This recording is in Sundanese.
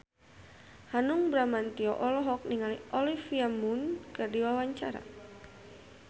Hanung Bramantyo olohok ningali Olivia Munn keur diwawancara